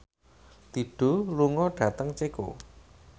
Dido lunga dhateng Ceko